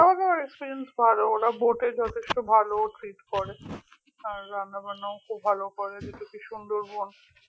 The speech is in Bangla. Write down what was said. খাওয়া দাওয়ার experience ভালো ওরা boat এ যথেষ্ট ভালো treat করে আর রান্নাবান্নাও খুব ভালো করে যেহেতু কি সুন্দরবন